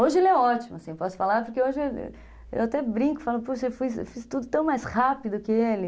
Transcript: Hoje ele é ótimo, assim, posso falar, porque hoje eu até brinco, falo, puxa, eu fiz fiz tudo tão mais rápido que ele.